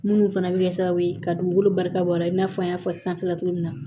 Minnu fana bɛ kɛ sababu ye ka dugukolo barika bɔ a la i n'a fɔ n y'a fɔ sanfɛla cogo min na